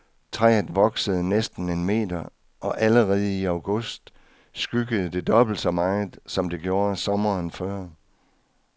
Træet voksede næsten en meter, og allerede i august skyggede det dobbelt så meget, som det gjorde sommeren før.